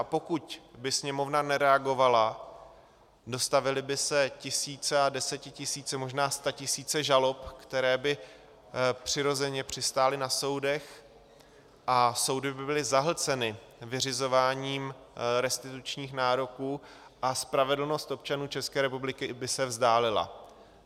A pokud by Sněmovna nereagovala, dostavily by se tisíce a desetitisíce, možná statisíce žalob, které by přirozeně přistály na soudech, a soudy by byly zahlceny vyřizováním restitučních nároků a spravedlnost občanů České republiky by se vzdálila.